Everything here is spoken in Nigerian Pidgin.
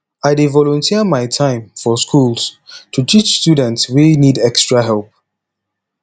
i dey volunteer my time for schools to teach students wey need extra help